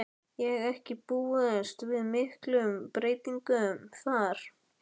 Má ekki búast við miklum breytingum þar?